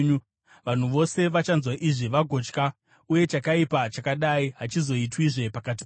Vanhu vose vachanzwa izvi vagotya uye chakaipa chakadai hachizoitwizve pakati penyu.